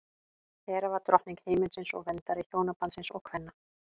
hera var drottning himinsins og verndari hjónabandsins og kvenna